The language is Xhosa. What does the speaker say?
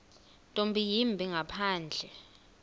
nto yimbi ngaphandle